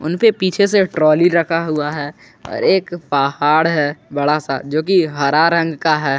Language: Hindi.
उनपे पीछे से ट्रॉली रखा हुआ है और एक पहाड़ है बड़ा सा जो कि हरा रंग का है।